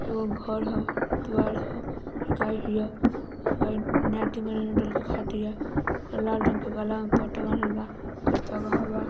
एगो घर ह द्वार हगाय बियागाय डाल के खा तिया ओकर लाल रंग के गाला में पटा बांधल बा ओकर पगहा बा।